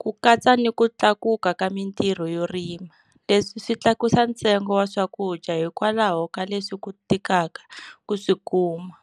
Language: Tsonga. ku katsa ni ku tlakuka ka mintirho yo rima. Leswi swi tlakusa ntsengo wa swakudya hikwalaho ka leswi ku tikaka ku swi kuma.